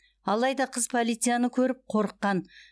алайда қыз полицияны көріп қорыққан